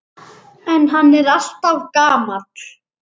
En hann er alltaf gamall.